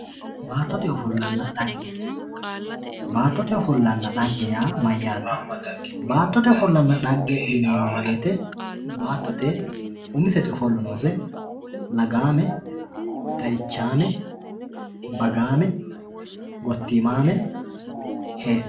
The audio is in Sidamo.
baattote ofollonna xagge baattote ofollonna xagge yaa mayyaate baattote ofollonna xagge yineemmo woyiite baattote umiseti ofollo noose lagaame xe"ichaame bagaame gottiimaame heedhanno.